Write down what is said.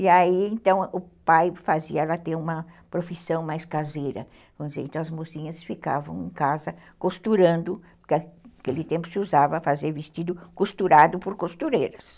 E aí então o pai fazia ela ter uma profissão mais caseira, vamos dizer, então as mocinhas ficavam em casa costurando, porque naquele tempo se usava fazer vestido costurado por costureiras.